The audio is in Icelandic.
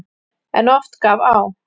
En oft gaf á.